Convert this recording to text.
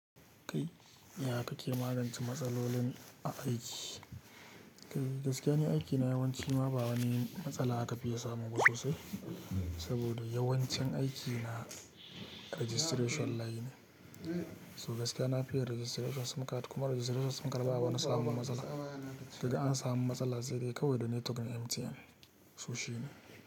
Kai yaya kake magance matsalolin a aiki? Gaskiya ne aikina yawanci ma ba wani matsala aka fiya samu ba sosai. Saboda yawancin aikina registration layin ne. So gaskiya nafiya registration card kuma registration card ba wani samun matsala. Da an samu matsala zai kai wa da network ɗin MTN to shi ne.